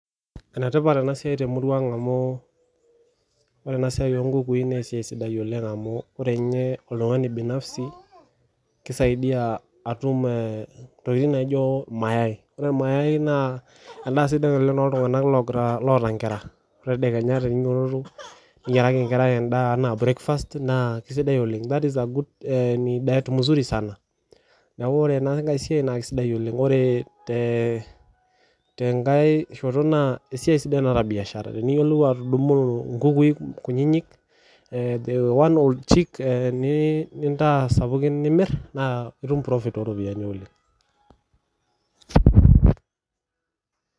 Enetipat ena siai temurua ang amu ore esiai oo nkukui amu ore ninye oltung'ani binafsi kisaidia atum ntokitin naijio irmayai ore irmayai naa sidan oleng too iltung'ana otaa lotaa enkara ore teninyiototo tedekenya niyiaraki enkerai breakfast naa kisidai oleng ni diet mzuri sana ore tee shoto naa esiai naata biashara teniyiolo atadumu nkukui kutiti nintaa sapukin nimir naa etum profit oo ropiani oleng